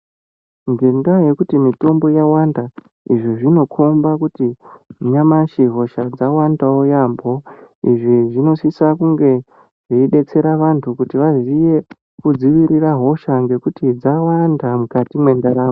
Ngendayekuti mitombo yawanda izvi zvinokomba kuti nyamashi hosha dzawandawo yambo izvi zvinosisa kunge zveidetsereka antu kuti vaziye kudziirire hosha ngekuti dzwanda mukati mendaramo